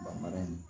Bangara in